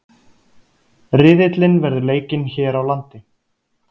Riðillinn verður leikinn hér á landi